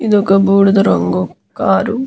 ఇది ఒక బూడిద రంగు కార్ .